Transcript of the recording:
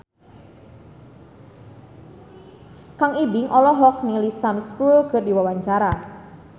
Kang Ibing olohok ningali Sam Spruell keur diwawancara